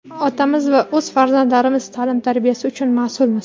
otamiz va o‘z farzandlarimiz taʼlim-tarbiyasi uchun masʼulmiz.